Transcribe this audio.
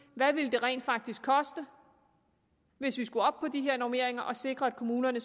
hvad det rent faktisk ville koste hvis vi skulle op på de her normeringer at sikre at kommunerne